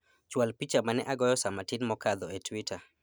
chwal picha mane agoyo saa matin mokadho e twita